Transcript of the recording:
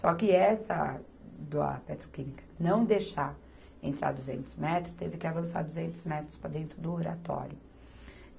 Só que essa do a petroquímica não deixar entrar duzentos metros, teve que avançar duzentos metros para dentro do Oratório.